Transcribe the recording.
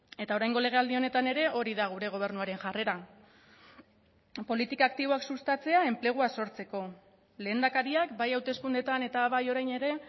eta oraingo legealdi honetan ere hori da gure gobernuaren jarrera politika aktiboak sustatzea enplegua sortzeko lehendakariak bai hauteskundeetan eta bai orain ere